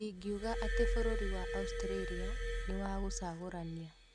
Ndĩngĩuga ati bũrũri wa Australia nĩ wa gũcagũrania